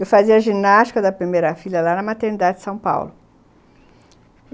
Eu fazia ginástica da primeira filha lá na maternidade de São Paulo.